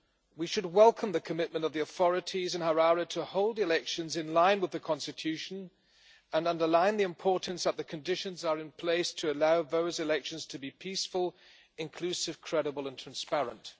We should welcome the commitment of the authorities in Harare to hold the elections in line with the Constitution, and underline the importance that the conditions are in place to allow those elections to be peaceful, inclusive, credible and transparent.